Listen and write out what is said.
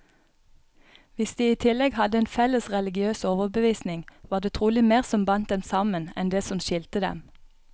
Hvis de i tillegg hadde en felles religiøs overbevisning, var det trolig mer som bandt dem sammen, enn det som skilte dem.